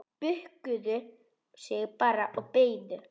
Bukkuðu sig bara og beygðu!